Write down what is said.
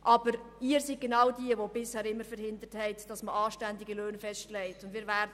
Aber genau Sie haben es bisher immer verhindert, anständige Löhne festzulegen.